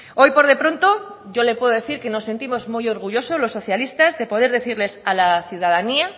hoy por de pronto yo le puedo decir que nos sentimos muy orgullosos los socialistas de poder decirles a la ciudadanía